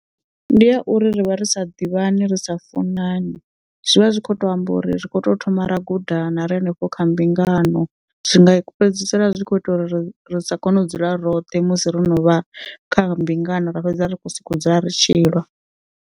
Ndi ya uri rivha ri sa ḓivhani ri sa funani zwivha zwi kho to amba uri rikho to thoma ra gudana ri hanefho kha mbingano zwi nga fhedzisela zwi kho ita uri ri sa kone u dzula roṱhe musi ro no vha kha mbingano ra fhedza ri kho soko dzula ritshi lwa.